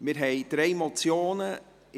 Es liegen uns drei Motionen vor.